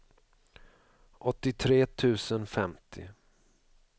åttiotre tusen femtio